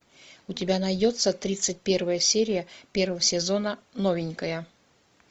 у тебя найдется тридцать первая серия первого сезона новенькая